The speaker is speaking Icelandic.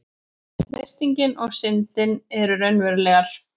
freistingin og syndin eru raunverulegar